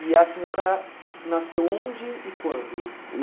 E a senhora nasceu onde e quando?